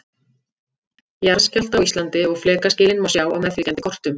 Jarðskjálfta á Íslandi og flekaskilin má sjá á meðfylgjandi kortum.